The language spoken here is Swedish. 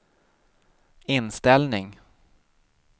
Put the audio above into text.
inställning